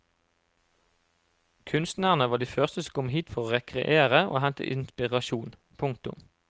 Kunstnerne var de første som kom hit for å rekreere og hente inspirasjon. punktum